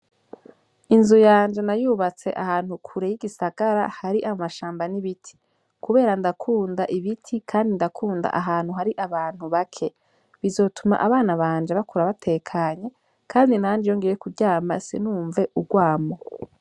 Inzu yanje nayubatse ahantu kure y'igisagara hari amashamba n'ibiti, kubera ndakunda ibiti, kandi ndakunda ahantu hari abantu bake bizotuma abana banje bakura batekanye, kandi nanje iyongiwe kuryama sinumve urwamo.